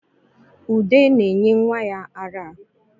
Ude na-enye nwa ya ara